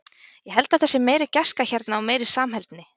Ég held að það sé meiri gæska hérna og meiri samheldni.